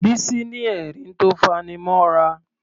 Bísí ní ẹ̀rín tó faní mọ́ra.